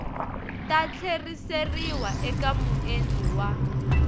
ta tlheriseriwa eka muendli wa